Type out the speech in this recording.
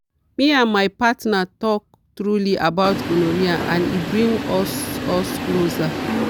me and my partner talk truly about gonorrhea and e bring us us closer.